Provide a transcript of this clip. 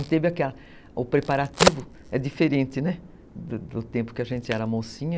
O preparativo é diferente, né, do tempo que a gente era mocinha.